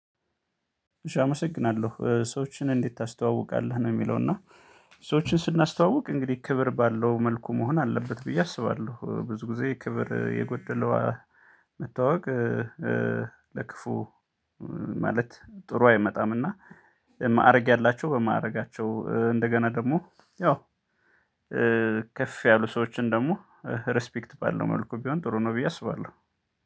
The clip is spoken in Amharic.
አመሰግናለሁ ሰዎችን እንዴት ታስተዋውቃለህ ነው የሚለው? እና ሰዎችን ስናስተዋውቅ እንግዲህ ክብር ባለው መልኩ መሆን አለበት ብዬ አስባለሁ ብዙ ጊዜ ክብር የጎደለው መተዋወቅ ለክፉ ማለት ጥሩ አይመጣምና። ማዕረግ ያላቸው በማዕረጋቸው እንደገና ደግሞ ያው ከፍ ያሉ ሰዎችን ደግሞ ሪስፔክት ባለው መልኩ ቢሆን ጥሩ ነው። ብዬ አስባለሁ